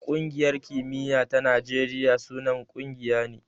Ƙungiyar kimiya ta Najeriya sunan ƙungiya ne.